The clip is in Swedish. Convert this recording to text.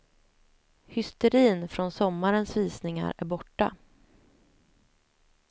Hysterin från sommarens visningar är borta.